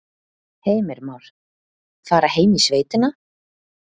Heimir Már: Fara heim í sveitina?